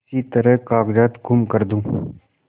किसी तरह कागजात गुम कर दूँ